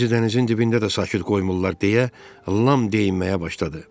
Bizi dənizin dibində də sakit qoymurlar deyə, Lam deyinməyə başladı.